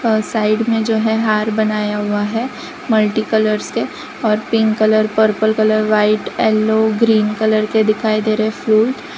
Side में जो है हार बनाया हुआ है मल्टी कलर से और pink colour purple colour white yellow green colour के दिखाई दे रहे फ्रूट ।